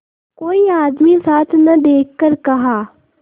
कोई आदमी साथ न देखकर कहा